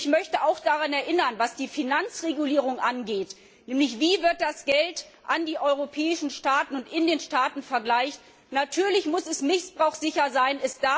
Ich möchte auch daran erinnern, was die Finanzregulierung angeht, nämlich wie das Geld an die europäischen Staaten und in den Staaten verteilt wird natürlich muss es missbrauchsicher sein.